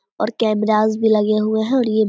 और कैमरास भी लगे हुए हैं और ये --